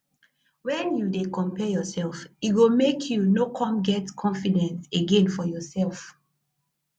wen you dey compare yourself e go make you no come get confidence again for yourself